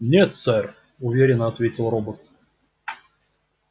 нет сэр уверенно ответил робот